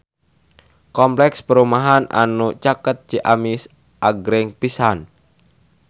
Kompleks perumahan anu caket Ciamis agreng pisan